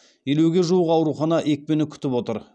елуге жуық аурухана екпені күтіп отыр